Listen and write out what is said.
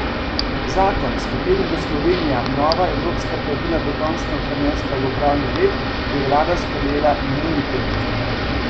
Zakon, s katerim bo Slovenija nova evropska pravila dokončno prenesla v pravni red, je vlada sprejela minuli teden.